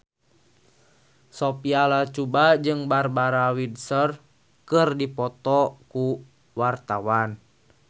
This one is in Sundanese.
Sophia Latjuba jeung Barbara Windsor keur dipoto ku wartawan